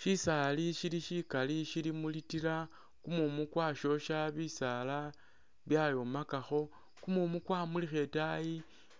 Syisaali syili syikali syili mu litila, kumumu kwasyosha, bisaala byayomakakho. Kumumu kwamulikha itaayi,